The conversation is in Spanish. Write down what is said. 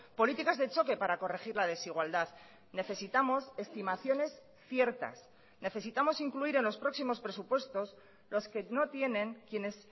políticas de choque para corregir la desigualdad necesitamos estimaciones ciertas necesitamos incluir en los próximos presupuestos los que no tienen quienes